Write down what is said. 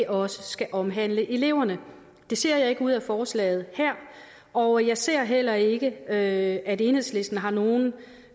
også skal omhandle eleverne det ser jeg ikke af forslaget her og jeg ser heller ikke at at enhedslisten har nogen